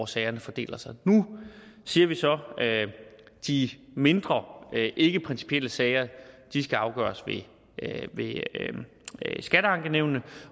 sagerne fordeler sig nu siger vi så at de mindre og ikkeprincipielle sager skal afgøres ved skatteankenævnene